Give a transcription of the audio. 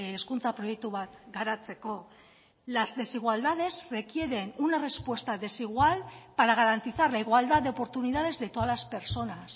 hezkuntza proiektu bat garatzeko las desigualdades requieren una respuesta desigual para garantizar la igualdad de oportunidades de todas las personas